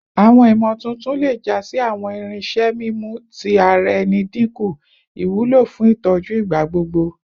Awọn imotuntun le ja si awọn irinṣẹ mimu ti ara ẹni dinku iwulo fun itọju igbagbogbo